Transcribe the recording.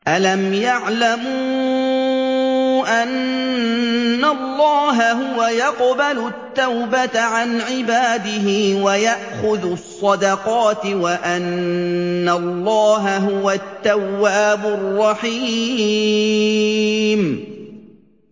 أَلَمْ يَعْلَمُوا أَنَّ اللَّهَ هُوَ يَقْبَلُ التَّوْبَةَ عَنْ عِبَادِهِ وَيَأْخُذُ الصَّدَقَاتِ وَأَنَّ اللَّهَ هُوَ التَّوَّابُ الرَّحِيمُ